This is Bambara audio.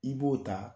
I b'o ta